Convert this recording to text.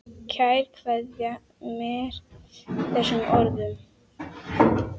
Kær kveðja með þessum orðum.